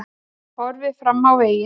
Horfið fram á veginn